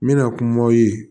N bɛna kumaw ye